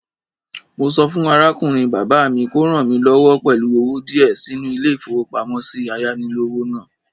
Mo sọ fún arákùnrin bàbá mi kò ràn mí lọ́wọ́ pẹ̀lú owó díẹ̀ sínú ilé-ìfowópamósí ayánilówó náà